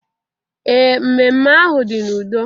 Ee, mmemme ahụ dị n'udo.